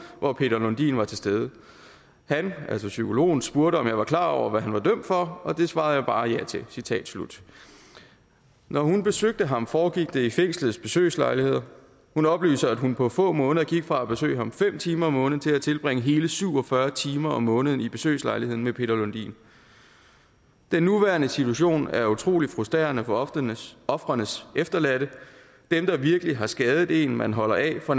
hvor peter lundin var til stede han altså psykologen spurgte om jeg var klar over hvad han var dømt for og det svarede jeg bare ja til når hun besøgte ham foregik det i fængslet besøgslejligheder hun oplyser at hun på få måneder gik fra at besøge ham fem timer om måneden til at tilbringe hele syv og fyrre timer om måneden i besøgslejligheden med peter lundin den nuværende situation er utrolig frustrerende for ofrenes ofrenes efterladte dem der virkelig har skadet en man holder af får